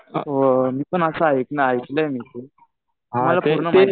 हो मी पण असं ऐकलंय मी ते. पूर्ण माहिती